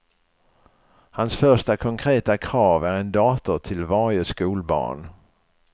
Hans första konkreta krav är en dator till varje skolbarn.